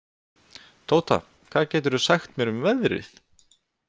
Tóta, hvað geturðu sagt mér um veðrið?